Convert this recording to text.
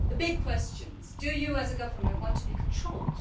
As for the key questions do you, as a government, want to be controlled?'